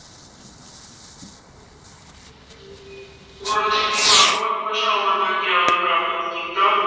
ਗੁਰੂ ਜੀ ਨੇ ਵੱਖ ਵੱਖ ਭਾਸ਼ਾਵਾਂ ਦਾ ਗਿਆਨ ਪ੍ਰਾਪਤ ਕੀਤਾ।